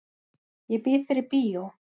Ég býð þér í bíó.